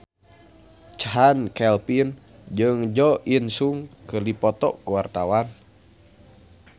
Chand Kelvin jeung Jo In Sung keur dipoto ku wartawan